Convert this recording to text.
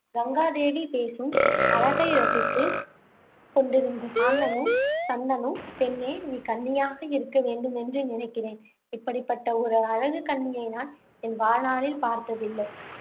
கங்காதேவி பேசும் அழகை ரசித்துக் கொண்டிருந்த சாந்தனு சந்தனு பெண்ணே நீ கன்னியாக இருக்க வேண்டுமென்று நினைக்கிறேன். இப்படிப்பட்ட ஒரு அழகுக்கன்னியை நான் என் வாழ்நாளில் பார்த்ததில்லை.